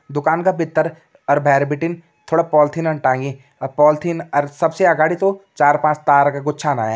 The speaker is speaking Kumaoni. दुकान का भित्तर और बहर भिटिन थोड़ा पॉलीथिन टांगी और पॉलीथिन और सबसे अगाड़ी तोह चार पांच तार का गुच्छा न आयन।